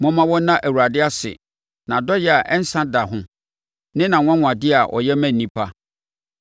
Momma wɔnna Awurade ase, nʼadɔeɛ a ɛnsa da ho ne nʼanwanwadeɛ a ɔyɛ ma nnipa.